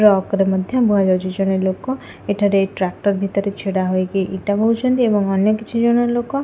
Truck ରେ ମଧ୍ୟ ବୁହାଯାଉଛି। ଜଣେ ଲୋକ ଏଠାରେ ଟ୍ରାକ୍ଟର୍ ଭିତରେ ଛିଡ଼ା ହୋଇକି ଇଟା ବୋହୁଛନ୍ତି ଏବଂ ଅନ୍ୟ କିଛି ଜଣ ଲୋକ --